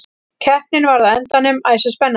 Keppnin varð á endanum æsispennandi.